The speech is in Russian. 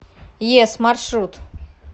йес маршрут